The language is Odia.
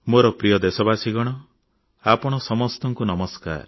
ମୋର ପ୍ରିୟ ଦେଶବାସୀଗଣ ଆପଣ ସମସ୍ତଙ୍କୁ ଶୁଭେଚ୍ଛା ଓ ନମସ୍କାର